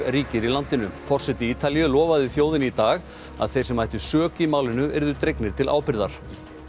ríkir í landinu forseti Ítalíu lofaði þjóðinni í dag að þeir sem ættu sök í málinu yrðu dregnir til ábyrgðar